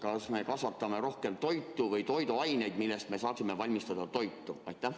Kas me kasvatame rohkem toitu või toiduaineid, millest me saaksime valmistada toitu?